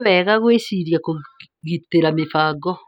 Ni wega gwĩciria kũgitĩra mĩbango.